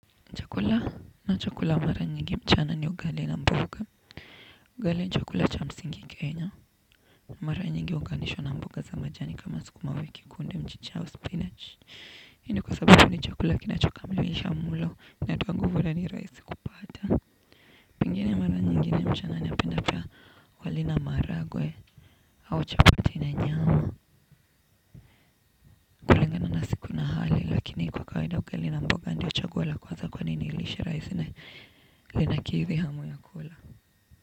Chakula nachokula mara nyingi mchana ni ugali na mboga. Ugali ni chakula cha msingi kenya. Mara nyingi huunganishwa na mboga za majani kama sukuma wiki kunde mchicha au spinach. Hii ni kwa sababu ni chakula kinachokamilisha mlo inatoa nguvu na ni rahisi kupata. Pengine mara nyingine mchana naipenda. Wali na maharagwe au chapati na nyama kula nyama na supu na wali lakini kwa kawaida ugali na mboga ndiyo chaguo la kwanza kwani ni lishe rahisi na linakidhi hamu ya kula.